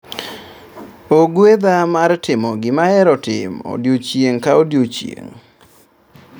Ogwedha mar timo gima ahero timo odiocging' ka odiochieng'